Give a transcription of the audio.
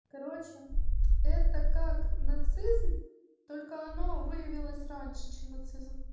короче это как нацизм только оно выявилось раньше чем нацизм